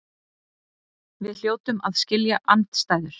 Við hljótum að skilja andstæður.